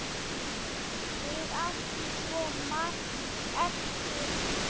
Við áttum svo margt eftir.